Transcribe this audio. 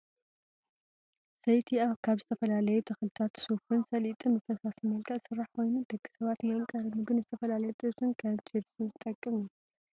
ዘይቲ ካብ ዝተፈላለዩ ተክልታት ሹፍን ሰሊጥን ብፈሳሲ መልክዕ ዝስራሕ ኮይኑ ደቂ ሰባት ንመምቀሪ ምግቢ ንዝተፈላለዩ ጥብስን ከም ችብሲ ዝጠቅም እዩ።